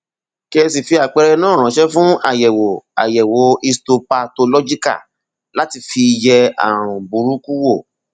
kí ẹ sì fi àpẹẹrẹ náà ránṣẹ fún àyẹwò àyẹwò histopathological láti fi yẹ ààrùn burúkú wò